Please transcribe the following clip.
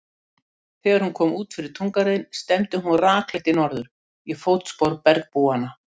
Þegar hún kom út fyrir túngarðinn stefndi hún rakleitt í norður, í fótspor bergbúanna.